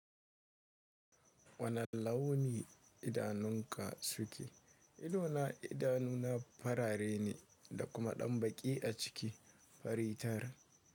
Wane launi idanunka suke? Idona idanu na farare ne da kuma ɗan baƙi a ciki. Fari tar.